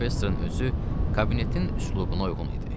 Professorun özü kabinetin üslubuna uyğun idi.